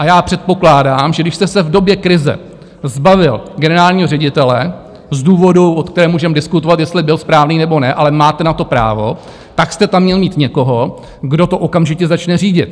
A já předpokládám, že když jste se v době krize zbavil generálního ředitele z důvodu, o kterém můžeme diskutovat, jestli byl správný, nebo ne, ale máte na to právo, tak jste tam měl mít někoho, kdo to okamžitě začne řídit.